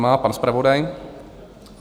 Nemá pan zpravodaj?